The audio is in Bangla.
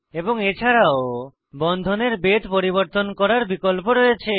এবং এছাড়াও বন্ধনের বেধ পরিবর্তন করার বিকল্প রয়েছে